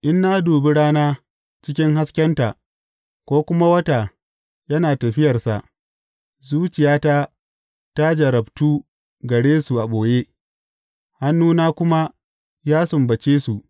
In na dubi rana cikin haskenta, ko kuma wata yana tafiyarsa, zuciyata ta jarrabtu gare su a ɓoye, hannuna kuma ya sumbace su.